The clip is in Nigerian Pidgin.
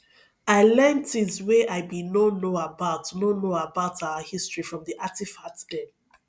i learn tins wey i bin no know about no know about our history from di artifacts dem